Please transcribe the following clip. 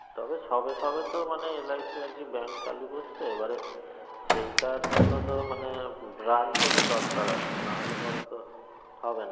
তবে সবে সবে তো মানে LIC আর কি bank চালু করছে এবারে সেইটার জন্য তো মানে branch এরও দরকার আছে নাহলে পরে তো হবে না